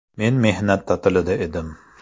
Men mehnat ta’tilida edim.